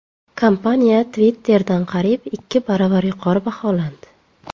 Kompaniya Twitter’dan qariyb ikki baravar yuqori baholandi.